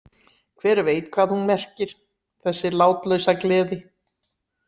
Hver veit hvað hún merkir, þessi látlausa gleði?